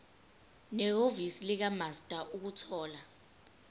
nehhovisi likamaster ukuthola